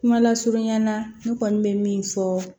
Kuma lasurunya na ne kɔni bɛ min fɔ